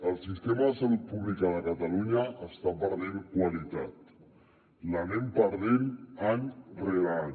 el sistema de salut públic de catalunya està perdent qualitat l’anem perdent any rere any